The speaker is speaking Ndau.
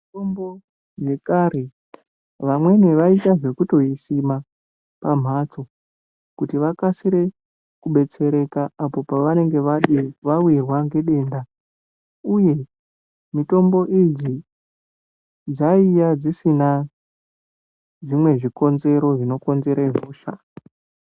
Mitombo yekare vamweni vaiita zvekutoisima pamhatso kuti vakasike kubetsereka apo pavanenga vawirwa ngedenda uye mitombo idzi dzaiyi dzisina zvimwe zvikonero zvinokonzera hosha .